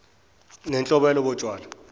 nenhlobo yalobo tshwala